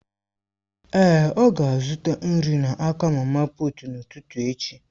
Èé, ọ ga-azụta nri n'aka mama puut n'ụtụtụ echi.